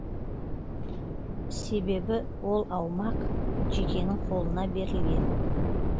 себебі ол аумақ жекенің қолына берілген